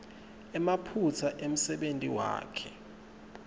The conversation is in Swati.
emaphutsa emsebentini wakhe